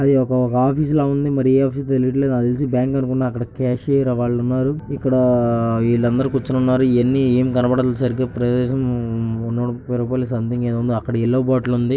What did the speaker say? అది ఒక ఆఫీస్ ల ఉంది. మరి ఏ ఆఫీస్ హో తెలియట్లేదు. నాకు తెలిసి బ్యాంకు అనుకుంట. అక్కడ క్యాషియర్ వాళ్లున్నారు. ఇక్కడ వీళ్ళందరూ కూర్చుని ఉన్నారు. ఇవన్నీ అమ్మి కనపడని ప్రదేశం. అక్కడ యెల్లో బాటిల్ ఉంది.